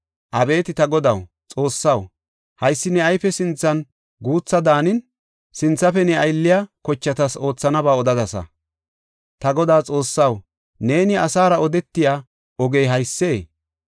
Abeeti ta Godaw, Xoossaw, haysi ne ayfe sinthan guutha daanin, sinthafe ne aylliya kochatas oothanaba odadasa. Ta Godaa Xoossaw, neeni asara odetiya ogey haysee?